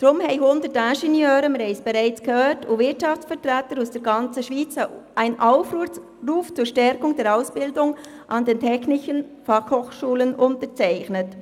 Deshalb haben, wie wir gehört haben, 100 Ingenieure und Wirtschaftsvertreter aus der ganzen Schweiz einen Aufruf zur Stärkung der Ausbildung an den Technischen Fachschulen (TF) unterzeichnet.